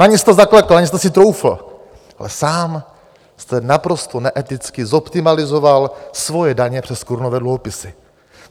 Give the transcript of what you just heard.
Na ně jste zaklekl, na ně jste si troufl, ale sám jste naprosto neeticky zoptimalizoval svoje daně přes korunové dluhopisy.